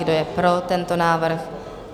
Kdo je pro tento návrh?